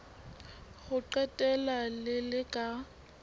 ho qetela le le ka